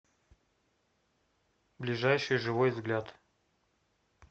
ближайший живой взгляд